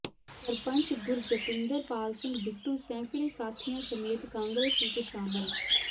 ਸਰਪੰਚ ਗੁਰਜਤਿੰਦਰਪਾਲ ਸਿੰਘ ਬਿੱਟੂ ਸੈਂਕੜੇ ਸਾਥੀਆਂ ਸਮੇਤ ਕਾਂਗਰਸ ਵਿਚ ਸ਼ਾਮਿਲ